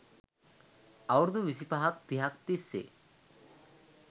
අවුරුදු විසිපහක් තිහක් තිස්සේ